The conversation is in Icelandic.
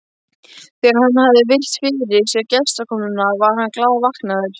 Þegar hann hafði virt fyrir sér gestakomuna var hann glaðvaknaður.